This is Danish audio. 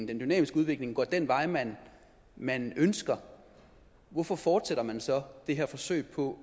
dynamiske udvikling går den vej man man ønsker hvorfor fortsætter man så det her forsøg på